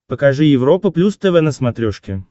покажи европа плюс тв на смотрешке